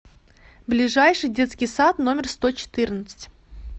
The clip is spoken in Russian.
ближайший детский сад номер сто четырнадцать